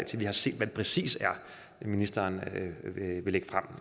til vi har set hvad det præcist er ministeren